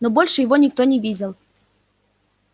но больше его никто не видел